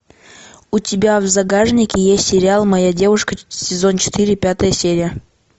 у тебя в загашнике есть сериал моя девушка сезон четыре пятая серия